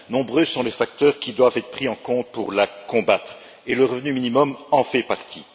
Nombreux sont les facteurs qui doivent être pris en compte pour la combattre et le revenu minimum en fait partie.